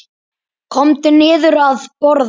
Komdu niður að borða.